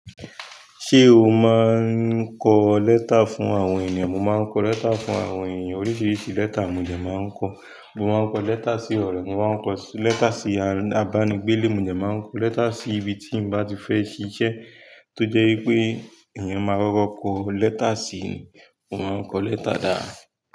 Ṣé o máa ń kọ lẹ́tà fún àwọn èyàn? Mo máa ń kọ lẹ́tà fún àwọn èyàn. Oríṣiríṣi lẹ́tà mo de máa ń kọ. Mo máa ń kọ lẹ́tà sí ọ̀rẹ́, mo máa ń kọ lẹ́tà sí abánigbéle, mo dẹ máa ń kọ lẹ́tà sí ibi tí n bá ti fẹ́ ṣiṣẹ́ tó jẹ́ wípé èèyàn máa kọ́kọ́ kọ lẹ́tà síi ni. Mo máa ń kọ lẹ́tà da.